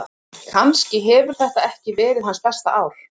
Kannski hefur þetta ekki verið hans besta ár.